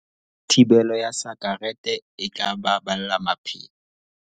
Thibelo ya sakerete e tla baballa maphelo